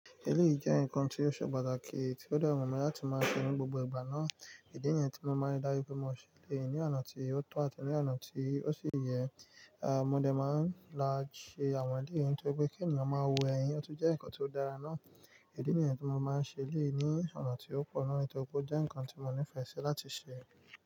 Eléyìí jẹ́ nǹkan tí ó ṣe pàtàkì tí ó de wù mi, latí máa ṣe ní gbogbo ìgbà náà. Idi niyẹn tí mo máa ń dájú pé mo ṣẹ elẹ̀yii ní ọ̀nà tí ó tọ́ àti ní ọ̀nà tí ó sì yẹ, à mo dẹ̀ máa ń láti ṣe àwọn eléyìí ntorí pé kí ènìyàn máa wo ẹ̀yin ọ̀tu jẹ́ nǹkan tí ó dára náà. Idi nìyẹn tí mo máa ń ṣẹ elẹ̀yii ní ọ̀nà tí ó pọ̀ náà ntorí pé ó jẹ́ nǹkan tí mo nífẹ̀ẹ́ sí láti ṣe.